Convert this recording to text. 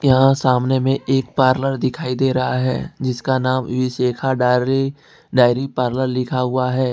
यहां सामने में एक पार्लर दिखाई दे रहा है जिसका नाम विशेखा डार्ली डायरी पार्लर लिखा हुआ है।